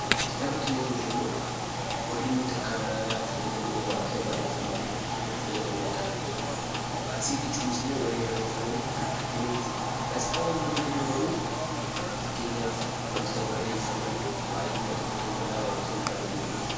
Kitaabota yeroo jennuu wantoota nuti harkatti fayyadamnu, wantoota barreeffaman mul'atan fayyadamnee harkaan dubbifnu jechuu dha. Matseetii jechuun immoo warreen barreeffaman kan argamaniidha. Gaazexaawwan yammuu jennu garuu fakkeenyaaf yammuu barannuu waa'ee dhimma tokkoo ta'uu danda'a kan nuti barannu.